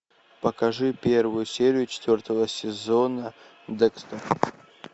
покажи первую серию четвертого сезона декстер